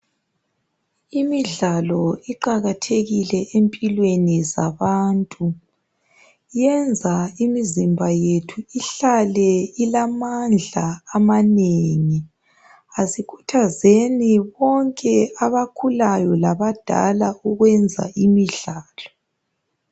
Imidlalo iqakathekile empilweni zabantu. Yenza imizimba yethu ihlale ilamandla amanengi. Asikhuthazeni bonke abakhulayo labadala ukwenza imidlalo.